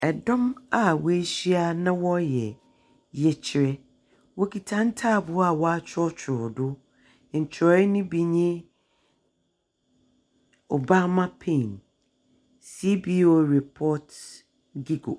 Dɔm a woehyia na wɔreyɛ yɛkyerɛ. Wokita ntaaboɛ a wɔakyerɛwkyerɛw do . Nkyerɛwee no bi nye, Obama pain, SPO report .